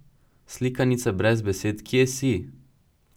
Slikanica brez besed Kje si?